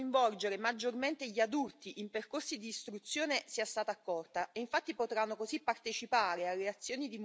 Sono molto contenta che le mie proposte di coinvolgere maggiormente gli adulti in percorsi di istruzione siano state accolte.